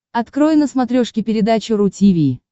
открой на смотрешке передачу ру ти ви